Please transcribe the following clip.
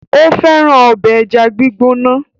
Ó fẹ́ràn ọbẹ̀ ẹja gbígbóná.